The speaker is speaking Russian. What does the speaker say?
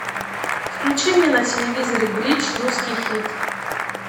включи мне на телевизоре бридж русский хит